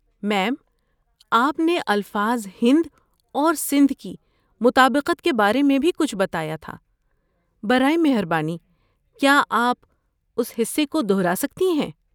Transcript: میم، آپ نے الفاظ ہند اور سندھ کی مطابقت کے بارے میں بھی کچھ بتایا تھا۔ برائے مہربانی کیا آپ اس حصے کو دہرا سکتی ہیں؟